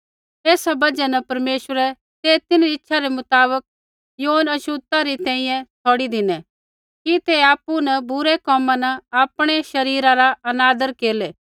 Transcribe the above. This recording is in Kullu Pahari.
ऐसा बजहा न परमेश्वरै तै तिन्हरी इच्छा मुताबक यौन छ़ोता री तैंईंयैं छ़ौड़ी धिनै कि ते आपु न बुरै कोमा न आपणै शरीरा रा अनादर केरलै